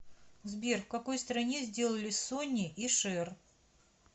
сбер в какой стране сделали сонни и шэр